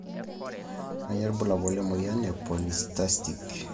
Kanyio ibulabul lemoyian e Polycystic ovarian syndrome?